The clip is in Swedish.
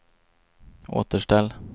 återställ